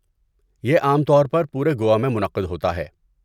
یہ عام طور پر پورے گوا میں منعقد ہوتا ہے۔